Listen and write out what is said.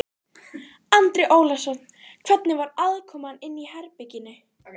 Andri Ólafsson: Hvernig var aðkoman inni í herberginu?